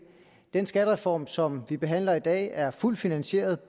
den skattereform som vi behandler i dag er fuldt finansieret